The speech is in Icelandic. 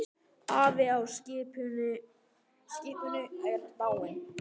Afi á skipinu er dáinn.